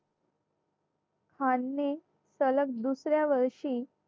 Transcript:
खानने सलग दुसऱ्या वर्षी